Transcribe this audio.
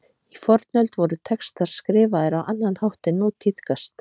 Í fornöld voru textar skrifaðar á annan hátt en nú tíðkast.